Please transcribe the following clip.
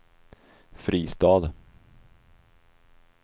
Fristad